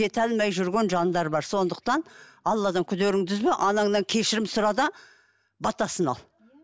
жете алмай жүрген жандар бар сондықтан алладан күдеріңді үзбе анаңнаң кешірім сұра да батасын ал